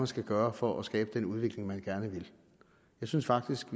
skal gøre for at skabe den udvikling man gerne vil jeg synes faktisk